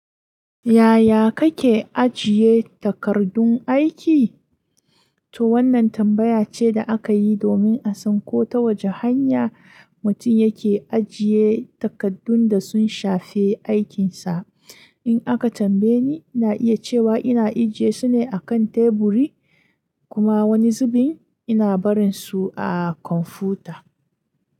Yaya kake ajiye takardun aiki? To wannan tambaya ce da aka yi domin a san ko ta wace hanya mutum yake ajiye takardun da sun shafe aikinsa. In aka tambaye ni, ina iya cewa ina ajiye su ne a kan teburi kuma wani zubin ina barin su a kwamfuta.